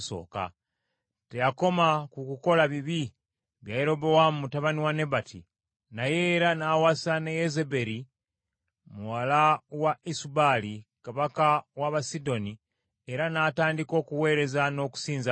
Teyakoma ku kukola bibi bya Yerobowaamu mutabani wa Nebati, naye era n’awasa ne Yezeberi muwala wa Esubaali kabaka w’Abasidoni, era n’atandika okuweereza n’okusinza Baali.